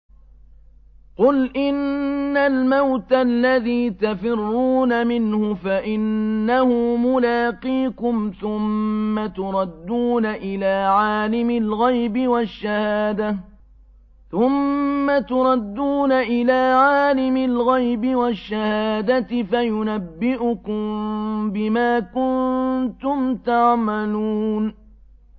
قُلْ إِنَّ الْمَوْتَ الَّذِي تَفِرُّونَ مِنْهُ فَإِنَّهُ مُلَاقِيكُمْ ۖ ثُمَّ تُرَدُّونَ إِلَىٰ عَالِمِ الْغَيْبِ وَالشَّهَادَةِ فَيُنَبِّئُكُم بِمَا كُنتُمْ تَعْمَلُونَ